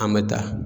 An bɛ da